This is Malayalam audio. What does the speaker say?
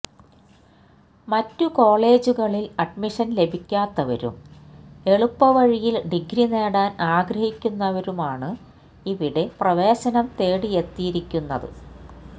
മറ്റു കോളജുകളിൽ അഡ്മിഷൻ ലഭിക്കാത്തവരും എളുപ്പ വഴിയിൽ ഡിഗ്രി നേടാൻ ആഗ്രഹിക്കുന്നവരുമാണ് ഇവിടെ പ്രവേശനം തേടിയെത്തിയിരുന്നത്